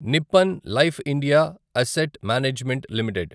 Nippon Life India Asset Management limited